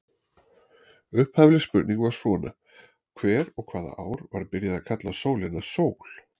Upphafleg spurning var svona: Hver og hvaða ár var byrjað að kalla sólina sól?